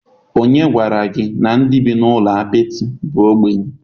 Onye gwara gi na ndi bi n'ulo apịtị bu ogbenye?